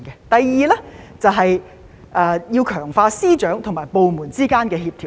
第二，便是要強化司長和部門之間的協調。